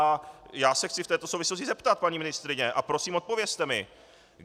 A já se chci v této souvislosti zeptat, paní ministryně, a prosím odpovězte mi.